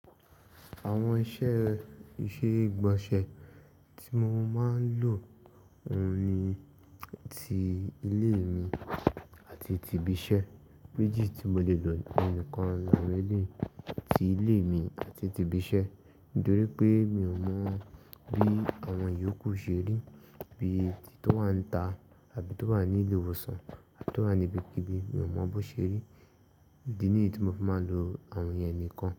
Àwọn iṣẹ́ ìṣeré ìgbọ̀nsẹ̀ tí mo máa ń lò òun ni ti ilé mi àti ti ibi iṣẹ́. Méjì tí mo lè lò nìkan lórí ilé mi àti ibi iṣẹ́. Nítorí pé mi ò mọ̀ bí àwọn ìyókù ṣe rí, bíi ti tó wà níta àbí tó wà ní ilé ìwòsàn àbí tó wà ní ibikíbi. Mi ò mọ bó ṣe rí. Idì nìyí tí mo fi máa ń lò àwọn ìyẹn nìkan.